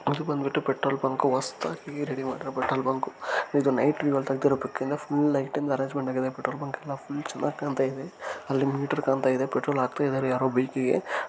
ಇದು ಬಂದ್ಬಿಟ್ಟು petrol bunk ಹೊಸದಾಗಿ ರೆಡಿ ಮಾಡಿರುವಂತಹ ಪೆಟ್ರೋಲ್ ಬಂಕ್. ಇದು ನೈಟಲ್ಲಿ ತೆಗೆದಿರುವಂತ ಬಂಕ್ ಫುಲ್ ಲೈಟಿಂಗ್ ಅರೆಂಜ್ಮೆಂಟ್ ಆಗಿದೆ. ಪೆಟ್ರೋಲ್ ಬಂಕ್ ಎಲ್ಲಾ ಫುಲ್ ಚೆನ್ನಾಗ್ ಕಾಣ್ತಾ ಇದೆ ಅಲ್ಲಿ ಮೀಟರ್ ಕಾಣಿಸ್ತಾ ಇದೆ ಪೆಟ್ರೋಲ್ ಹಾಕುತ್ತಿದ್ದಾರೆ ಯಾರೋ ಬೈಕ್ ಗೆ.